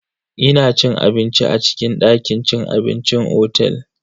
Ina cin abinci a cikin dakin cin abincin otel.